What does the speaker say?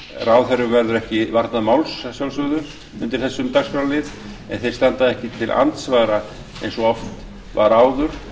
ráðherrum verður ekki varnað máls að sjálfsögðu undir þessum dagskrárlið en þeir standa ekki til andsvara eins og oft var áður